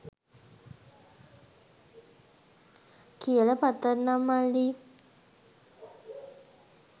කියල පතන්නම් මල්ලි